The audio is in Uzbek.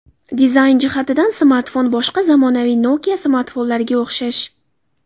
Dizayn jihatidan smartfon boshqa zamonaviy Nokia smartfonlariga o‘xshash.